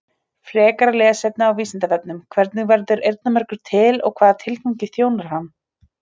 Frekara lesefni á Vísindavefnum: Hvernig verður eyrnamergur til og hvaða tilgangi þjónar hann?